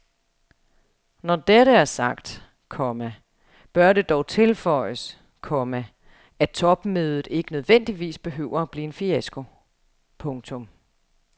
Når dette er sagt, komma bør det dog tilføjes, komma at topmødet ikke nødvendigvis behøver at blive en fiasko. punktum